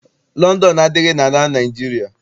Lọndọnụ adịghị n'ala Naịjirịa.